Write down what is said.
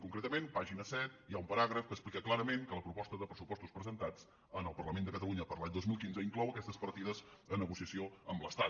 concretament pàgina set hi ha un paràgraf que explica clarament que la proposta de pressupostos presentats en el parlament de catalunya per a l’any dos mil quinze inclou aquestes partides a negociació amb l’estat